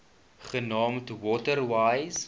genaamd water wise